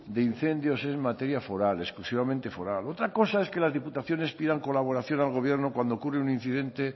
de incendios es materia foral exclusivamente foral otra cosa es que las diputaciones pidan colaboración al gobierno cuando ocurre un incidente